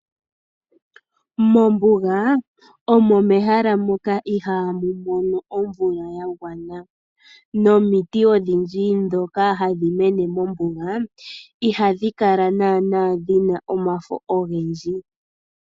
Mombuga, omo mehala moka ihaamu mono omvula ya gwana, nomiti odhindji ndhoka hadhi mene mombuga, ihadhi kala naana dhina omafo ogendji.